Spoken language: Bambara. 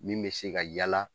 Min bɛ se ka yaala